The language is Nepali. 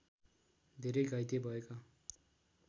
धेरै घाइते भएका